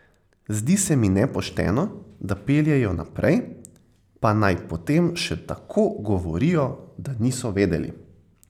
Zdi se mi nepošteno, da peljejo naprej, pa naj potem še tako govorijo, da niso vedeli.